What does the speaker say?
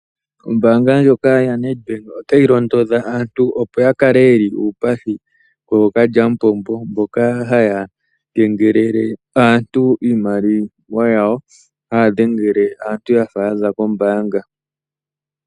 Ombaanga yoNedbank otayi londodha aantu, opo ya kale yeli uupathi kookalyampombo mbono haya dhengele aantu nokuyakengelela iimaliwa yawo yafa yaza kombaanga.